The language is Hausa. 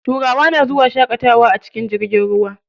Turawa na zuwa shaƙatawa a cikin jirgin ruwa.